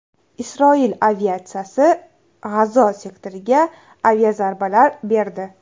Isroil aviatsiyasi G‘azo sektoriga aviazarbalar berdi.